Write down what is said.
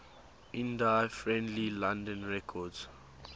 indie friendly london records